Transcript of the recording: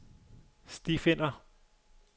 stifinder